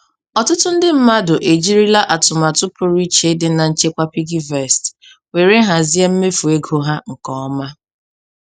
Ọtụtụ ndị mmadụ ejirila atụmatụ pụrụ iche dị na nchekwa PiggyVest were hazie mmefu ego ha nke ọma.